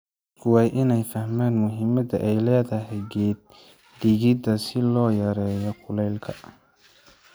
Dadku waa inay fahmaan muhiimadda ay leedahay geed-dhigidda si loo yareeyo kuleylka.